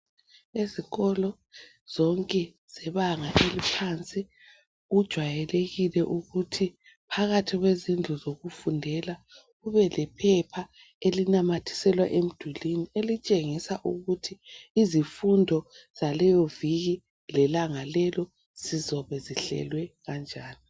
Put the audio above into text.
Ezikolo zonke zebanga eliphansi kujwayelekile ukuthi phakathi kwezindlu zokufundela kube lephepha elinamathiselwa emdulini elitshengisa ukuthi izifundo zaleyo viki, lelanga lelo zizobe zihlelwe kanjani.